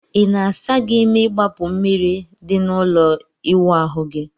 Ị na-asa gị ime igbapu mmiri di na ụlọ ịwụ ahu gi?